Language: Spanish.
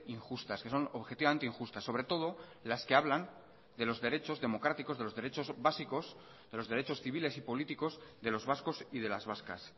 injustas que son objetivamente injustas sobre todo las que hablan de los derechos democráticos de los derechos básicos de los derechos civiles y políticos de los vascos y de las vascas